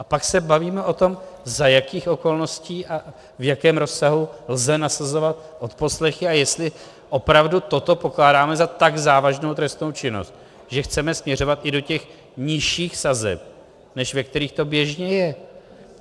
A pak se bavíme o tom, za jakých okolností a v jakém rozsahu lze nasazovat odposlechy a jestli opravdu toto pokládáme za tak závažnou trestnou činnost, že chceme směřovat i do těch nižších sazeb, než ve kterých to běžně je.